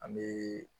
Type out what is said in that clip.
An bɛ